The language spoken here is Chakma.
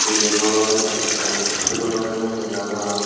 iben olodey ekkan hospital sannen dega jar.